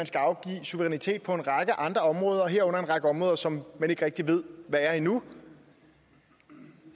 skal afgive suverænitet på en række andre områder herunder en række områder som man ikke rigtig ved hvad er endnu